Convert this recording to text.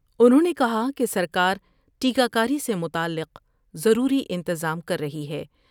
انھوں نے کہا کہ سر کارٹیکہ کاری سے متعلق ضروری انتظام کر رہی ہے ۔